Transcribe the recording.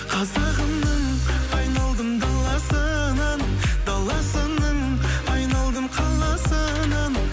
қазағымның айналдым даласынан даласының айналдым қаласынан